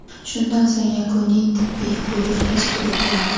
Shundan so‘ng yakuniy tibbiy ko‘rik tashkil etiladi.